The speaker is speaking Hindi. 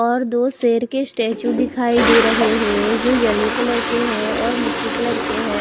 और दो शेर के स्टेचू दिखाई दे रहे है जो येलो कलर के है और मिट्टी कलर के है।